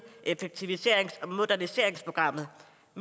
effektiviserings og moderniseringsprogrammet